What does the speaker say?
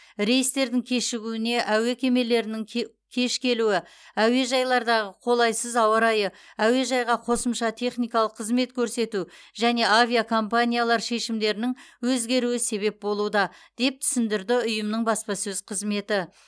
рейстердің кешігуіне әуе кемелерінің кеш келуі әуежайлардағы қолайсыз ауа райы әуежайға қосымша техникалық қызмет көрсету және авиакомпаниялар шешімдерінің өзгеруі себеп болуда деп түсіндірді ұйымның баспасөз қызметі